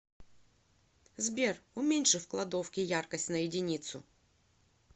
сбер уменьши в кладовке яркость на единицу